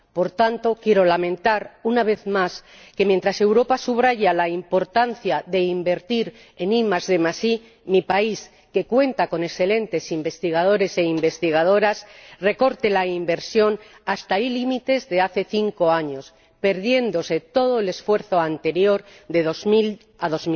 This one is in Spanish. Por tanto, quiero lamentar, una vez más, que mientras Europa subraya la importancia de invertir en IDI, mi país, que cuenta con excelentes investigadores e investigadoras, recorte la inversión hasta límites de hace cinco años, perdiéndose todo el esfuerzo anterior de 2000 a